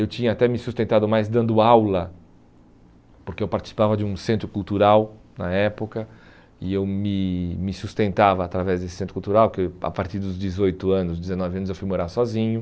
Eu tinha até me sustentado mais dando aula, porque eu participava de um centro cultural na época, e eu me me sustentava através desse centro cultural, porque a partir dos dezoito anos, dezenove anos, eu fui morar sozinho.